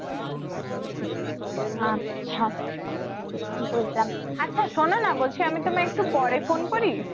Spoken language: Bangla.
আচ্ছা বুঝলাম আচ্ছা শুনো না বলছি আমি তোমায় পরে একটু পরে ফোন করি